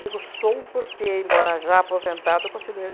sou porque, embora já aposentada, eu continuo